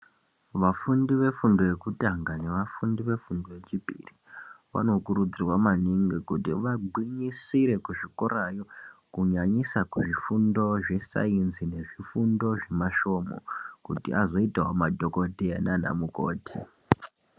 Vafundi vefundo yekutanga nevafundi vefundo yechipiri. Vanokurudzirwa maningi kuti vagwinyisire kuzvikorayo kunyanyisa kuzvifundo zvesaenzi nezvifundo zvemasvomho. Kuti azoitavo madhogodheya nanamukoti.